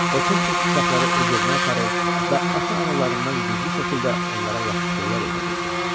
O tez-tez uşaqları öz evinə aparır və ata-analarından gizli şəkildə onlara yaxşı şeylər öyrədirdi.